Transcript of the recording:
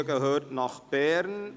Radiostudio gehört nach Bern».